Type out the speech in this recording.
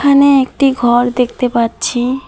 এখানে একটি ঘর দেখতে পাচ্ছি।